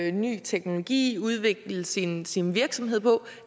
i ny teknologi og udvikle sin sin virksomhed på